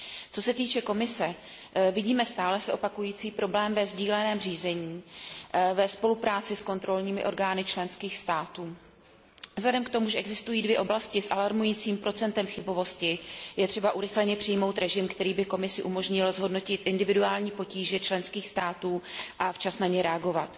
Co se týče Komise, vidíme stále se opakující problém ve sdíleném řízení ve spolupráci s kontrolními orgány členských států. Vzhledem k tomu, že existují dvě oblasti s alarmujícím procentem chybovosti, je třeba urychleně přijmout režim, který by Komisi umožnil zhodnotit individuální potíže členských států a včas na ně reagovat.